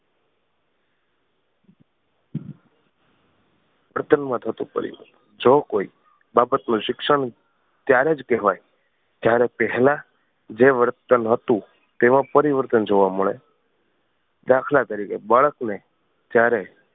વર્તનમાં થતું પરિવર્તન. જો કોઈ બાબત નું શિક્ષણ ત્યારે જ કહેવાય જ્યારે પહેલા જે વર્તન હતું તેમાં પરિવર્તન જોવા મળે દાખલા તરીકે બાળક ને જ્યારે